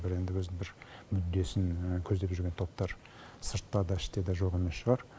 бір енді өзінің бір мүддесін көздеп жүрген топтар сыртта да іште де жоқ емес шығар